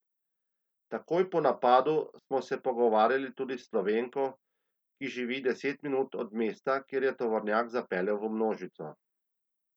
Takoj po napadu smo se pogovarjali tudi s Slovenko, ki živi deset minut od mesta, kjer je tovornjak zapeljal v množico ljudi.